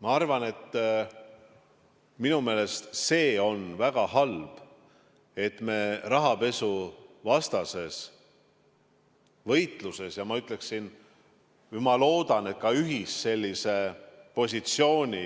Ma arvan, minu meelest see on väga halb, et me rahapesuvastases võitluses sellise ühise positsiooni,